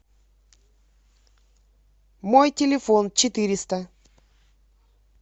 мой телефон четыреста